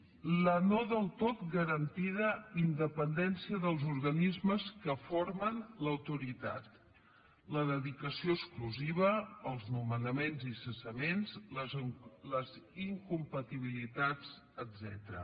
la no del tot garantida independència dels organismes que formen l’autoritat la dedicació exclusiva els nomenaments i cessaments les incompatibilitats etcètera